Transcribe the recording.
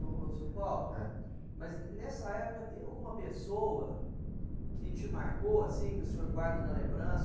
Ô ô, seu Paulo, ãh, mas nessa época tem alguma pessoa que te marcou, assim, que o senhor guarda na lembrança?